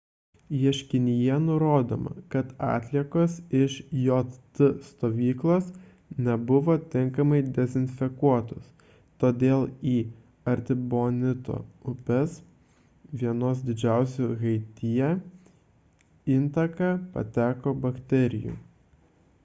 ieškinyje nurodoma kad atliekos iš jt stovyklos nebuvo tinkamai dezinfekuotos todėl į artibonito upės – vienos didžiausių haityje – intaką pateko bakterijų